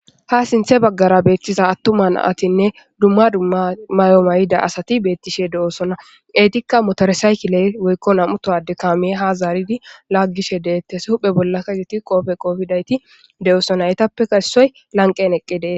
Ha sinththe baggara bettiza atuma naytine dumma dumma mayo maayida asati betishe de'osonna. Ettika motore,saykille woykko nam'u tohowadde kame ha zaridi lagishe de'etees . huphphe bolla be qooppe qooppe qoppidi lagishe de'osonna.